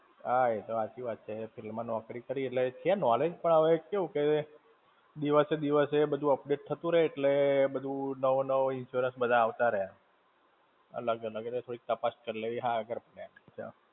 હા એતો હાચી વાત છે, એ field માં નૌકરી કરી એટલે છે knowledge પણ, હવે કેવું કે, દિવસે દિવસે બધું update થતું રેય એટલે બધું નવો નવો insurance બધા આવતા રહે. અલગ-અલગ, એટલે થોડીક તાપસ કરી લેવી હારી પડે.